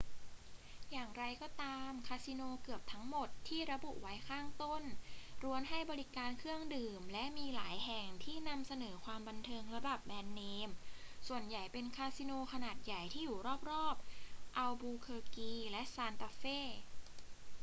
อย่างไรก็ตาม คาสิโนเกือบทั้งหมดที่ระบุไว้ข้างต้นล้วนให้บริการเครื่องดื่ม และมีหลายแห่งที่นำเสนอความบันเทิงระดับแบรนด์เนม ส่วนใหญ่เป็นคาสิโนขนาดใหญ่ที่อยู่รอบ ๆ อัลบูเคอร์กีและซานตาเฟ